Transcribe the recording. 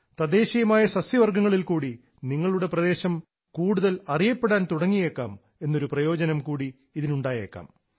തദ്ദേശീയമായ സസ്യവർഗ്ഗങ്ങളിൽക്കൂടി നിങ്ങളുടെ പ്രദേശം കൂടുതൽ അറിയപ്പെടാൻ തുടങ്ങിയേക്കാം എന്നൊരു പ്രയോജനം കൂടി ഇതിനുണ്ടായേക്കാം